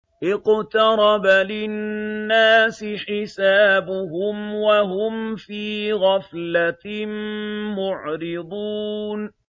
اقْتَرَبَ لِلنَّاسِ حِسَابُهُمْ وَهُمْ فِي غَفْلَةٍ مُّعْرِضُونَ